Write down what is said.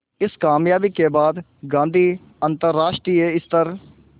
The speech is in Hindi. इस क़ामयाबी के बाद गांधी अंतरराष्ट्रीय स्तर